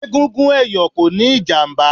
Egungun ẹ̀yọ̀ kò níí ìjàmbá